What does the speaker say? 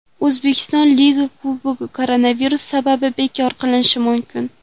O‘zbekiston Liga Kubogi koronavirus sabab bekor qilinishi mumkin.